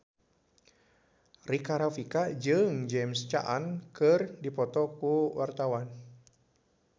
Rika Rafika jeung James Caan keur dipoto ku wartawan